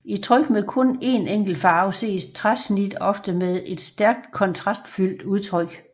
I tryk med kun en enkelt farve ses træsnit ofte med et stærkt kontrastfuldt udtryk